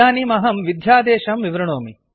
इदानीम् अहं विध्यादेशं कोड् विवृणोमि